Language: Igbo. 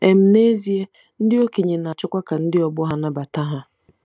um N'ezie, ndị okenye na-achọkwa ka ndị ọgbọ ha nabata ha.